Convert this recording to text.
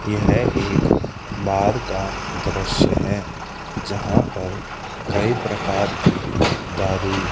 यह एक बार का दृश्य है जहां पर कई प्रकार की दारू--